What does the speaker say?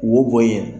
Wo bɔ yen